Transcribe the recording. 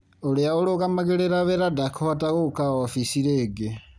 Ũrĩa ũrũgamagĩrĩra wĩra ndakũhota gũka ofici rĩngĩ.